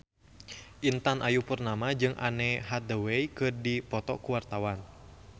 Intan Ayu Purnama jeung Anne Hathaway keur dipoto ku wartawan